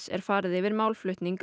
er farið yfir málflutning